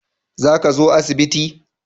Za ka zo asibiti?